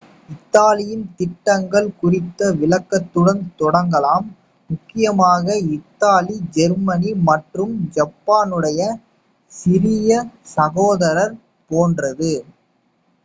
"இத்தாலியின் திட்டங்கள் குறித்த விளக்கத்துடன் தொடங்கலாம். முக்கியமாக இத்தாலி ஜெர்மனி மற்றும் ஜப்பானுடைய "சிறிய சகோதரர்" போன்றது.